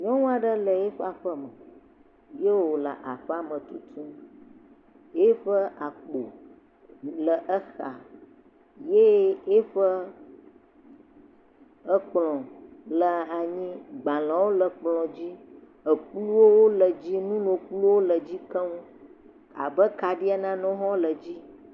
Nyɔnua ɖe le eƒe aƒeme, ye wole aƒea me tutum, ye ƒe akpo le exa, ye ye ƒe akplɔ le anyi, gbalẽwo le akplɔ dzi, ekuwo, nu nono nuwo le edzi keŋ abe hafi nanewo hã le edzi.